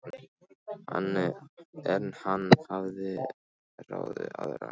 En hann hafði ráðið aðra einnig.